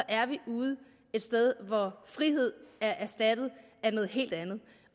er vi ude et sted hvor friheden er erstattet af noget helt andet